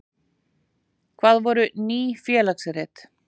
Hvað voru Ný félagsrit?